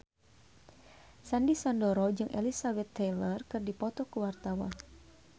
Sandy Sandoro jeung Elizabeth Taylor keur dipoto ku wartawan